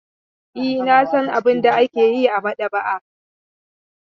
E, na san abin da ake yi a maɗaba'a.